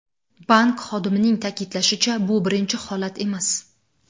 Bank xodimining ta’kidlashicha, bu birinchi holat emas.